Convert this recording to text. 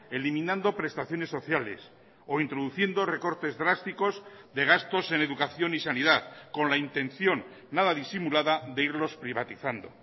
eliminando prestaciones sociales o introduciendo recortes drásticos de gastos en educación y sanidad con la intención nada disimulada de irlos privatizando